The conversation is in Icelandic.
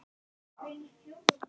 Björg Erla.